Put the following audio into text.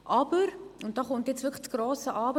Aber, und da kommt jetzt wirklich das grosse Aber: